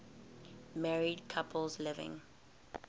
married couples living